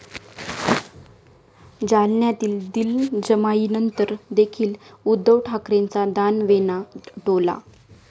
जालन्यातील दिलजमाईनंतर देखील उद्धव ठाकरेंचा दानवेंना टोला